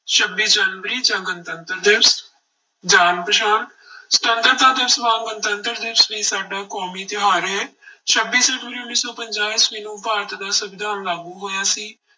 ਛੱਬੀ ਜਨਵਰੀ ਜਾਂ ਗਣਤੰਤਰ ਦਿਵਸ, ਜਾਣ ਪਛਾਣ ਸੁਤੰਤਰਤਾ ਦਿਵਸ ਵਾਂਗ ਗਣਤੰਤਰ ਦਿਵਸ ਵੀ ਸਾਡਾ ਕੌਮੀ ਤਿਉਹਾਰ ਹੈ ਛੱਬੀ ਜਨਵਰੀ ਉੱਨੀ ਸੌ ਪੰਜਾਹ ਈਸਵੀ ਨੂੰ ਭਾਰਤ ਦਾ ਸੰਵਿਧਾਨ ਲਾਗੂ ਹੋਇਆ ਸੀ।